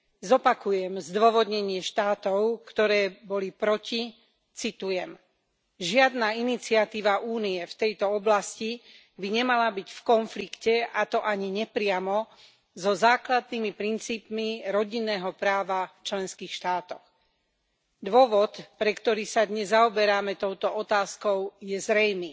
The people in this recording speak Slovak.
Zopakujem zdôvodnenie štátov, ktoré boli proti, citujem žiadna iniciatíva Únie v tejto oblasti by nemala byť v konflikte, a to ani nepriamo, so základnými princípmi rodinného práva v členských štátoch. Dôvod, pre ktorý sa dnes zaoberáme touto otázkou, je zrejmý